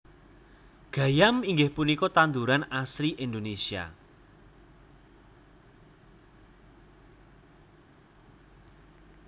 Gayam inggih punika tanduran asli Indonesia